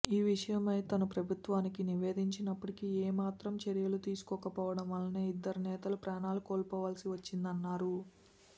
ఈ విషయమై తాను ప్రభుత్వానికి నివేదించినప్పటికీ ఏమాత్రం చర్యలు తీసుకోకపోవడం వలనే ఇద్దరు నేతలు ప్రాణాలు కోల్పోవలసి వచ్చిందన్నారు